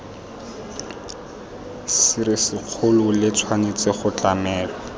serisikgolo le tshwanetse go tlamelwa